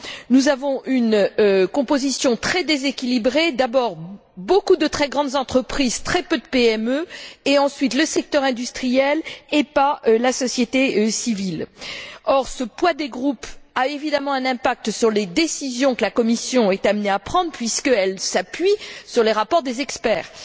Nous avons une composition très déséquilibrée beaucoup de très grandes entreprises, très peu de PME, et surtout le secteur industriel et pas la société civile. Or, ce poids des groupes a, évidemment, un impact sur les décisions que la Commission est amenée à prendre puisqu'elle s'appuie sur les rapports des experts.